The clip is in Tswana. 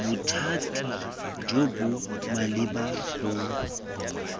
bothati jo bo maleba bo